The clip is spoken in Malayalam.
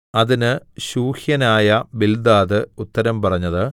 അതിന് ശൂഹ്യനായ ബിൽദാദ് ഉത്തരം പറഞ്ഞത്